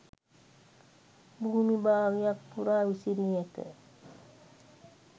භූමිභාගයක් පුරා විසිරී ඇත.